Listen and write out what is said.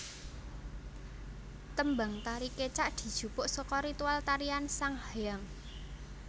Tembang tari Kecak dijupuk saka ritual tarian sanghyang